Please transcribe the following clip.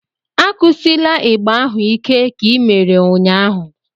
Akụsila ịgbà ahu ike ka i mere ụnyahụ!